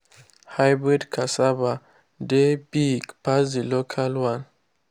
hybrid cassava dey big pass the local one.